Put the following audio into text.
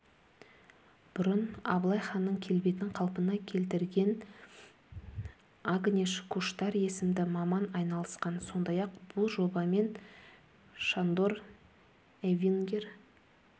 бұрын абылай ханның келбетін қалпына келтіргенагнеш куштар есімді маман айналысқан сондай-ақ бұл жобамен шандор эвингер